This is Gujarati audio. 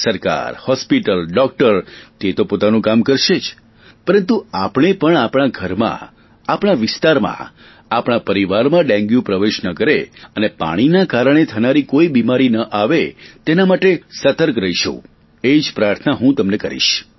સરકાર હોસ્પિટલ ડોકટર તે તો પોતાનું કામ કરશે જ પરંતુ આપણે પણ આપણા ઘરમાં આપણા વિસ્તારમાં આપણા પરિવારમાં ડેન્ગ્યુ પ્રવેશ ન કરે અને પાણીના કારણે થનારી કોઈ બીમારી ન આવે તેના માટે સતર્ક રહીશું એ જ પ્રાર્થના હું તમને કરીશ